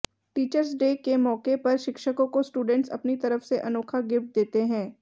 teachers day के मौके पर शिक्षकों को स्टूडेंस अपनी तरफ से अनोखा गिफ्ट देते हैं